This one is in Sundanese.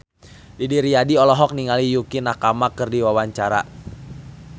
Didi Riyadi olohok ningali Yukie Nakama keur diwawancara